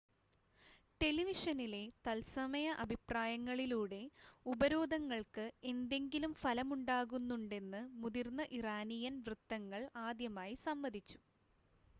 ടെലിവിഷനിലെ തത്സമയ അഭിപ്രായങ്ങളിലൂടെ ഉപരോധങ്ങൾക്ക് എന്തെങ്കിലും ഫലമുണ്ടാകുന്നുണ്ടെന്ന് മുതിർന്ന ഇറാനിയൻ വൃത്തങ്ങൾ ആദ്യമായി സമ്മതിച്ചു